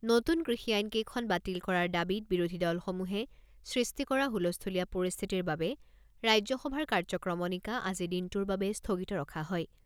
নতুন কৃষি আইনকেইখন বাতিল কৰাৰ দাবীত বিৰোধী দলসমূহে সৃষ্টি কৰা হুলস্থূলীয়া পৰিস্থিতিৰ বাবে ৰাজ্যসভাৰ কাৰ্যক্ৰমণিকা আজি দিনটোৰ বাবে স্থগিত ৰখা হয়।